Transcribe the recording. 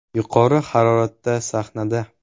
“Yuqori haroratda sahnada!